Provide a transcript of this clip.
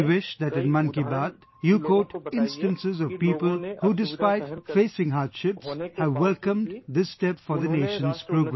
I wish that in Mann Ki Baat, you quote instances of people, who, despite facing hardships, have welcomed this step for the nation's progress